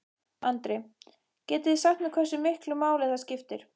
Andri: Getið þið sagt mér hversu miklu máli það skiptir?